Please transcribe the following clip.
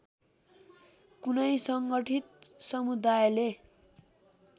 कुनै संगठीत समुदायले